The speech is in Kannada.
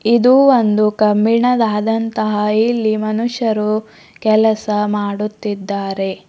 ಇದು ಒಂದು ಕಬ್ಬಿಣದಂತಹ ಇಲ್ಲಿ ಮನುಷ್ಯರು ಕೆಲಸ ಮಾಡುತ್ತಿದ್ದಾರೆ.